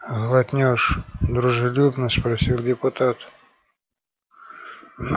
глотнёшь дружелюбно спросил депутат